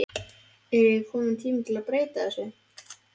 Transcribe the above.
Er ekki kominn tími að breyta þessu?